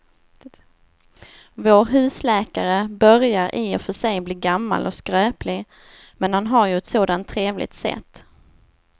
Vår husläkare börjar i och för sig bli gammal och skröplig, men han har ju ett sådant trevligt sätt!